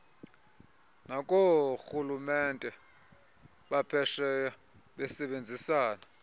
nakoorhulumente baphesheya besebenzisana